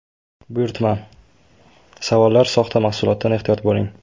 Buyurtma: Savollar: Soxta mahsulotdan ehtiyot bo‘ling!